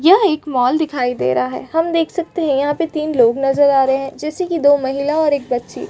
यह एक मॉल दिखाई दे रहा है हम देख सकते है यहाँ पे तीन लोग नज़र आ रहै है जैसे कि दो महिला और एक बच्ची --